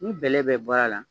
Ni bɛlɛ bɛ bɔr'a la